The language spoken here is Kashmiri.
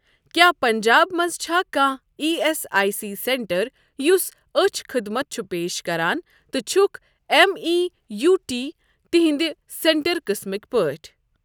کیٛاہ پنٛجاب مَنٛز چھا کانٛہہ E S I C centre یُس أچھ خدمت چھُ پیش کران تہٕ چھُکھ ایٚم ای یوٗ ڈی تِہنٛدِ سینٹر قٕسمٕک پٲٹھۍ؟